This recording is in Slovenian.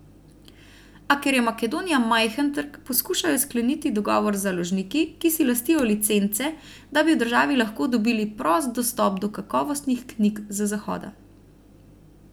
A ker je Makedonija majhen trg, poskušajo skleniti dogovor z založniki, ki si lastijo licence, da bi v državi lahko dobili prost dostop do kakovostnih knjig z zahoda.